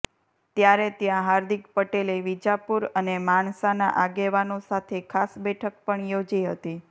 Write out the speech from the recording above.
ત્યારે ત્યાં હાર્દિક પટેલે વિજાપુર અને માણસાના આગેવાનો સાથે ખાસ બેઠક પણ યોજી હતી